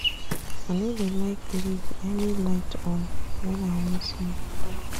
I no dey like leave any light on wen I wan sleep.